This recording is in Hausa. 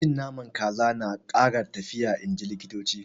Cin Naman kaza na Kara lafiya inji likitoci.